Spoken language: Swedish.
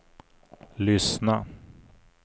lyssna